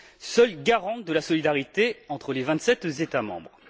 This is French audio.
seule garante de la solidarité entre les vingt sept États membres.